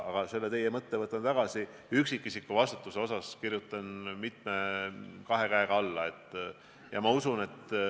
Aga teie mõtte võtan kaasa, üksikisiku vastutusele kirjutan kahe käega alla.